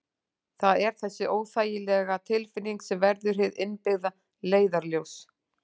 Það er þessi óþægilega tilfinning sem verður hið innbyggða leiðarljós.